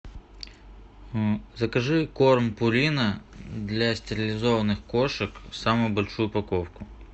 закажи корм пурина для стерилизованных кошек самую большую упаковку